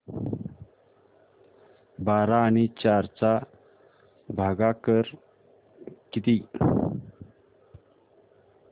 बारा आणि चार चा भागाकर किती